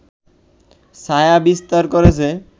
ছায়া বিস্তার করেছে